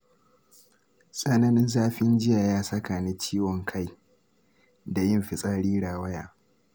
Tsananin zafin jiya ya saka ni ciwon kai da yin fitsari rawaya.